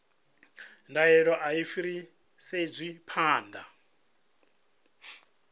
ndaela a i fhiriselwi phanḓa